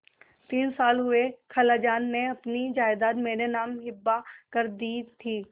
तीन साल हुए खालाजान ने अपनी जायदाद मेरे नाम हिब्बा कर दी थी